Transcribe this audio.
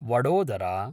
Vadodara